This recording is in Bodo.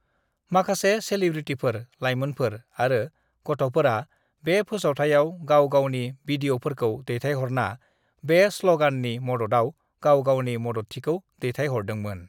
"माखासे सेलिब्रिटिफोर, लाइमोनफोर आरो गथ'फोरा बे फोसावथायाव गाव-गावनि बिदिअफोरखौ दैथायहरना बे स्लगाननि मददाव गाव गावनि मददथिखौ दैथायहरदोंमोन।"